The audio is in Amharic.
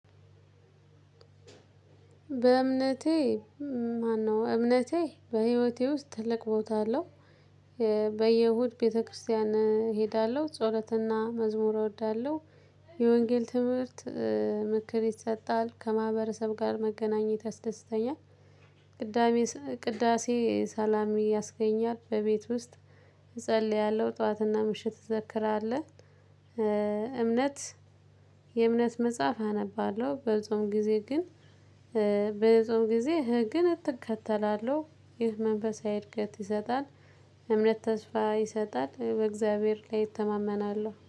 በእምነቴ ማነው እምነቴ በህይወቴ ውስጥ ትልቅ ቦታ አለው። በየእሁድ ቤተክርስቲያን እሄዳለሁ ጸሎትና መዝሙር እወዳለሁ። የወንጌል ትምህርት ምክር ይሰጣል ከማህበረሰብ ጋር መገናኘት ያስደስተኛል። ቅዳሴ ሰላም ያስገኛል በቤት ውስጥ። እጸልያለሁ ጠዋትና ምሽት እንዘክራለን። እምነት የእምነት መጽሐፍ አነባለሁ በጾም ጊዜ ግን። በጾም ጊዜ ህግን እከተላለሁ ይህ መንፈሳዊ እድገት ይሰጣል። እምነት ተስፋ ይሰጣል በእግዚአብሔር ላይ እተማመናለው